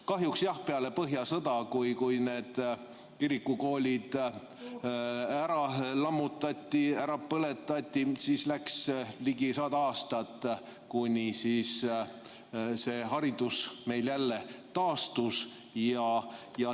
Kahjuks jah peale põhjasõda, kui kirikukoolid ära lammutati, ära põletati, läks ligi 100 aastat, kuni haridus meil jälle taastus.